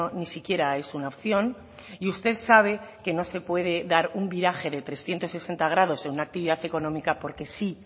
ni siquiera es una opción y usted sabe que no se puede dar un viraje de trescientos sesenta grados en una actividad económica porque sí